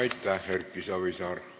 Aitäh, Erki Savisaar!